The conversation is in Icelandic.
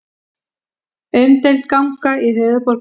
Umdeild ganga í höfuðborg Lettlands